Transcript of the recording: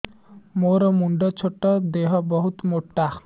ମୋର ମୁଣ୍ଡ ଛୋଟ ଦେହ ବହୁତ ମୋଟା